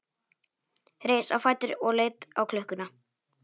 Reis á fætur og leit á klukkuna.